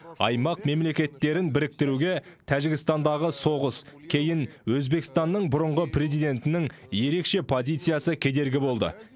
аймақ мемлекеттерін біріктіруге тәжікстандағы соғыс кейін өзбекстанның бұрынғы президентінің ерекше позициясы кедергі болды